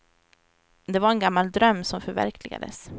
Det var en gammal dröm som förverkligades.